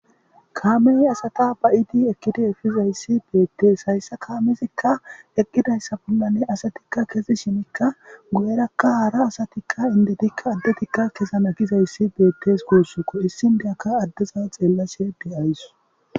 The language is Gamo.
kaamey asata ba7idi ekkidi efizayssi beettees hayssa kaamezikka eqqidayssa bollanne asatikka kezi shimikka gu7erakka haara asatikka indetikka addetikka keza na gizayssi beettes guussuko issindeyakka addeza xeellashe de7ayss